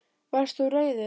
Varst þú reiður?